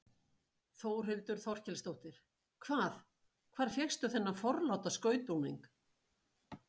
Þórhildur Þorkelsdóttir: Hvað, hvar fékkstu þennan forláta skrautbúning?